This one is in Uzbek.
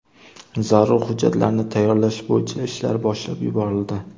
Zarur hujjatlarni tayyorlash bo‘yicha ishlar boshlab yuborildi.